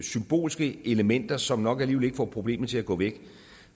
symbolske elementer som nok alligevel ikke får problemet til at gå væk